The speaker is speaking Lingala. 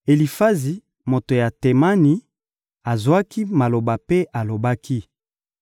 Elifazi, moto ya Temani, azwaki maloba mpe alobaki: